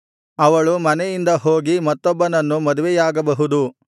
ಅವಳು ಮನೆಯಿಂದ ಹೋಗಿ ಮತ್ತೊಬ್ಬನನ್ನು ಮದುವೆಯಾಗಬಹುದು